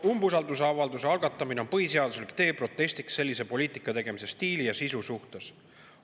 Umbusaldusavalduse algatamine on põhiseaduslik tee protestiks sellise poliitika tegemise stiili ja sisu suhtes.